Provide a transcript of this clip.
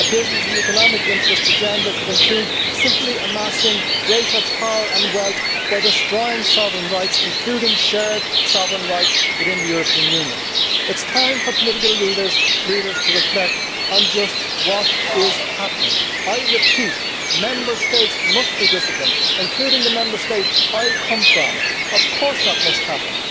a business and economic interest agenda could include simply amassing greater power and wealth by destroying sovereign rights, including shared sovereign rights, within the European Union. It is time for political leaders to reflect on just what is happening. I repeat Member States must be disciplined, including the Member State I come from. Of course that must happen.